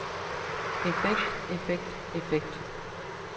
effekt effekt effekt